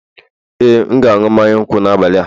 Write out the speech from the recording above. Ee, a ga m aṅụ mmanya nkwụ n'abalị a